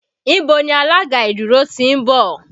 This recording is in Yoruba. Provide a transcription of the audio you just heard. Ibo ni alága ìdúró ti ń bọ̀?